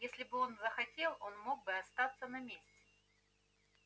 если бы он захотел он мог бы остаться на месте